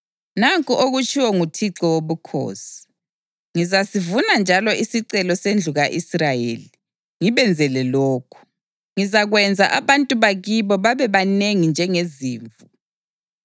Nanku okutshiwo nguThixo Wobukhosi: Ngizasivuma njalo isicelo sendlu ka-Israyeli ngibenzele lokhu: Ngizakwenza abantu bakibo babebanengi njengezimvu,